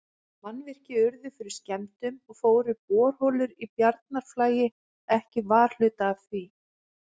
Mannvirki urðu fyrir skemmdum, og fóru borholur í Bjarnarflagi ekki varhluta af því.